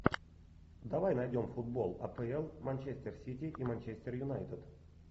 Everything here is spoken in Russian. давай найдем футбол апл манчестер сити и манчестер юнайтед